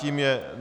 Tím je